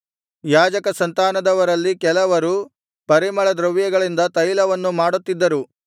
ಯಾಜಕ ಸಂತಾನದವರಲ್ಲಿ ಕೆಲವರು ಪರಿಮಳದ್ರವ್ಯಗಳಿಂದ ತೈಲವನ್ನು ಮಾಡುತ್ತಿದ್ದರು